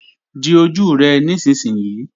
Di ojú rẹ nísinsìnyí!